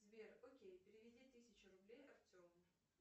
сбер окей переведи тысячу рублей артему